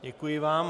Děkuji vám.